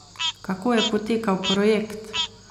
Kako je potekal projekt?